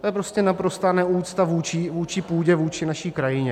To je prostě naprostá neúcta vůči půdě, vůči naší krajině.